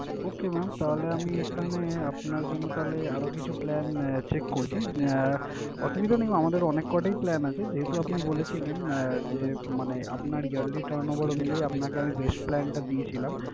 Okay mam তাহলে আমি এখানে আপনার জন্য তাহলে আরও কিছু plan check করছি। আহ অসুবিধা নেই আমাদের অনেক কটাই plan আছে। যেহেতু আপনি বলেছিলেন আহ যে মানে আপনার yearly turn over মিলিয়েই আপনাকে আমি best plan টা দিয়েছিলাম।